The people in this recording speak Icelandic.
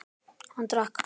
Hann drakk.